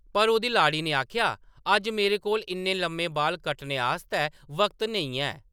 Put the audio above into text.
पर ओह्‌‌‌दी लाड़ी ने आखेआ ,“ अज्ज मेरे कोल इन्ने लम्मे बाल कट्टने आस्तै वक्त नेईं है !”